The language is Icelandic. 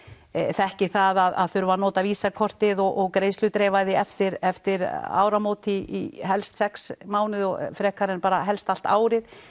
þekki það að þurfa að nota Visa kortið og greiðsludreifingu eftir eftir áramót í helst sex mánuði frekar en helst allt árið